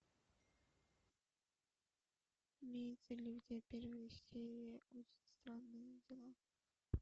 имеется ли у тебя первая серия очень странные дела